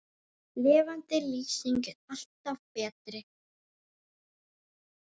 Lifandi lýsing er alltaf betri.